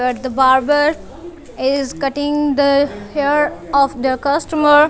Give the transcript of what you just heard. that the barber is cutting the hair of the customer.